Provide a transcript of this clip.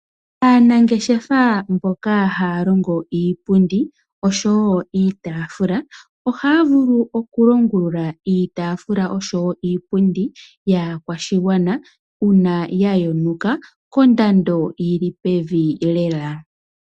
Aanangeshefa mboka haya longo iipundi osho woo iitaafula. Ohaya vulu oku longulula iitaafula osho woo iipundi kaakwashigwana uuna ya yonuka kondando yili pevi lela.